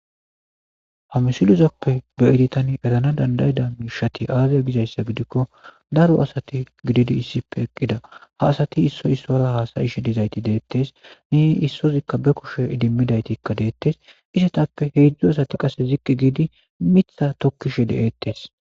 Hamisiluzappe be editan erana dandayida miishati aaze gizayssa gidikko daro asati gididi issipe eqqida ha asati issoy issora haasayishe dizayti deettes ne issozikka be kushe idimmidaytikka deettes isetappe heedzdzu asati qasse zikki giidi mitha tokkishe deeettes.